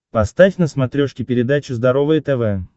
поставь на смотрешке передачу здоровое тв